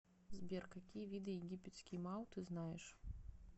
сбер какие виды египетский мау ты знаешь